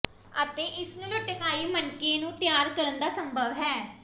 ਅਤੇ ਇਸ ਨੂੰ ਲਟਕਾਈ ਮਣਕੇ ਨੂੰ ਤਿਆਰ ਕਰਨ ਦਾ ਸੰਭਵ ਹੈ